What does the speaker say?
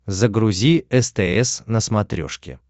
загрузи стс на смотрешке